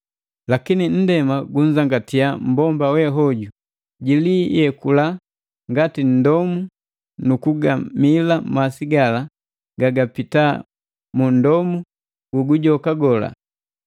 Lakini nndema gunzangatiya mmbomba we hoju. Jiliyekula ngati nndomu nu kugamila masi gala gagapita mu nndomu gu gujoka gola.